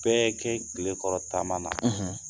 Bɛɛ kɛ kilekɔrɔ taama na;